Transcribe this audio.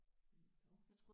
Nåh